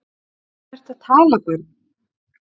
Um hvað ertu að tala barn?